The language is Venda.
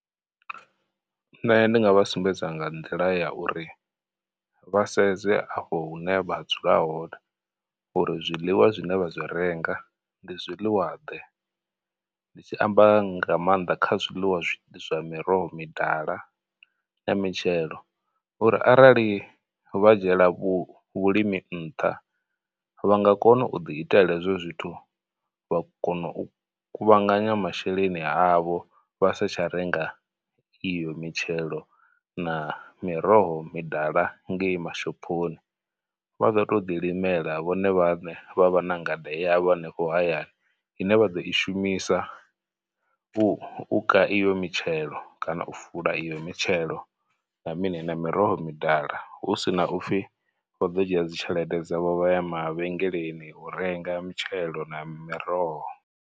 Nṋe ndi nga vha sumbedza nga nḓila ya uri vha sedze afho hune vha dzula hone uri zwiḽiwa zwine vha zwi renga ndi zwiḽiwa ḓe, ndi tshi amba nga maanḓa kha zwiḽiwa zwa miroho midala na mitshelo uri arali vha dzhiela vhu vhulimi nṱha, vha nga kona u ḓi itela hezwo zwithu vha kono u kuvhanganya masheleni avho vha sa tsha renga iyo mitshelo na miroho midala ngei mashophoni. Vha ḓo tou ḓi limela vhone vhaṋe vha vha na ngade yavho hanefho hayani ine vha ḓo i shumisa u u ka iyo mitshelo kana u fula iyo mitshelo na mini na miroho midala, hu sina upfhi vha ḓo dzhia dzi tshelede dzavho vha ya mavhengeleni u renga mitshelo na miroho.